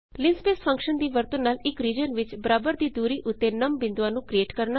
linspace function ਦੀ ਵਰਤੋ ਨਾਲ ਇੱਕ ਰੀਜਨ ਵਿੱਚ ਬਰਾਬਰ ਦੀ ਦੂਰੀ ਉੱਤੇ ਨਮ ਬਿੰਦੂਆਂ ਨੂੰ ਕਰੀਏਟ ਕਰਨਾ